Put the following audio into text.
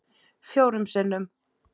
Fjórum sinnum